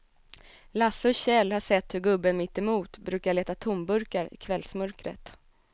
Lasse och Kjell har sett hur gubben mittemot brukar leta tomburkar i kvällsmörkret.